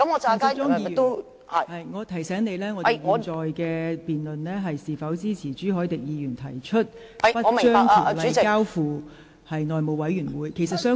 陳淑莊議員，我提醒你，現時辯論是關乎應否支持朱凱廸議員提出不將《條例草案》交付內務委員會處理的議案。